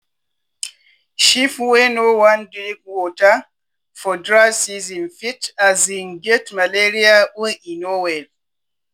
sheep wey no wan drink water for dry season fit um get malaria or e no well.